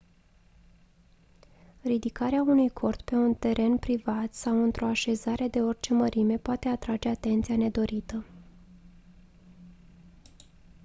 ridicarea unui cort pe un teren privat sau într-o așezare de orice mărime poate atrage atenție nedorită